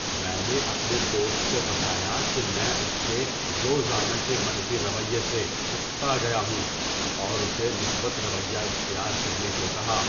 میں نے اپنے دوست کو بتایا کہ میں اس کے روزانہ کے منفی رویے سے اکتا گیا ہوں اور اسے مثبت رویہ اختیار کرنے کو کہا۔